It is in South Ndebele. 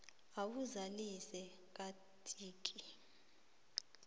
uwazalise kantike